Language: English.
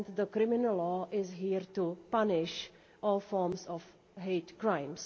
Criminal law is here to punish all forms of hate crime.